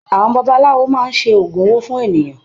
Àwọn babaláwo máa ń ṣe oògùn owó fún ènìyàn.